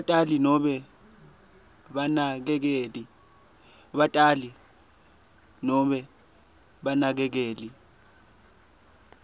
batali nobe banakekeli